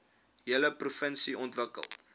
hele provinsie ontwikkel